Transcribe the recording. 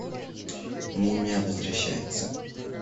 мумия возвращается